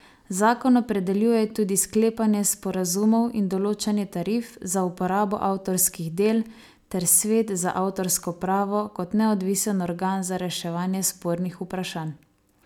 Zakon opredeljuje tudi sklepanje sporazumov in določanje tarif za uporabo avtorskih del ter svet za avtorsko pravo kot neodvisen organ za reševanje spornih vprašanj.